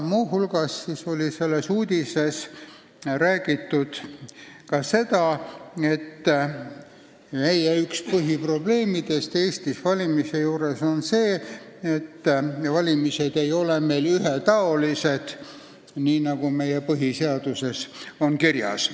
Muu hulgas räägiti selles uudises seda, et Eesti valimiste üks põhiprobleeme on see, et valimised ei ole ühetaolised, nii nagu põhiseaduses kirjas on.